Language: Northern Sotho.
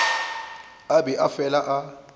a be a fele a